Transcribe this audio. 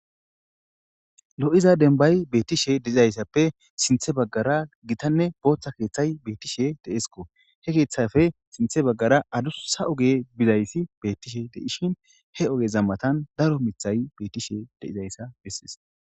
Lo'iza denbay beettishe deizayssappe sinthe baggara gitanne booththa keeththay beettishe deesko he keeththafe sinthe baggara adussa oge bizayssi bettishe deishin he oge zammatan daro mithay bettishe deizayssa bessis.